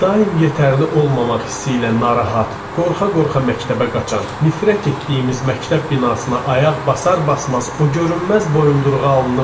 Daim yetərli olmamaq hissi ilə narahat, qorxa-qorxa məktəbə qaçan, nifrət etdiyimiz məktəb binasına ayaq basar-basmaz o görünməz boyunduruğa alınırdıq.